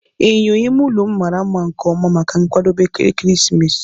My bedroom mirror is so beautiful for Christmas preparations.